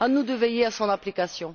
À nous de veiller à son application.